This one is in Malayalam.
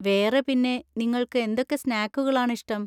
വേറെ പിന്നെ, നിങ്ങൾക്ക് എന്തൊക്കെ സ്‌നാക്കുകളാണ് ഇഷ്ടം?